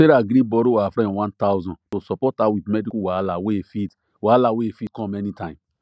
sarah gree borrow her friend one thousand to support her with medical wahala wey fit wahala wey fit com anytime